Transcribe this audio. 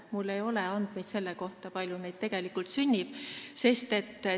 Mul ei ole andmeid selle kohta, kui palju neid sünnib.